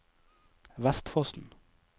Vestfossen